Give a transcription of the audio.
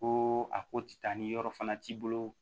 Ko a ko ti taa ni yɔrɔ fana t'i bolo